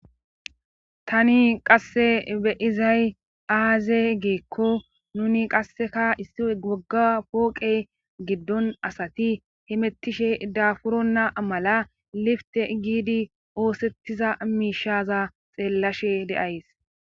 tani qasse beizay aaze geekko nuni qasseka issi wogga pooqe giddon asati himettishe daafuronna amala lifte giidi oosettiza miishaza xeellashe deays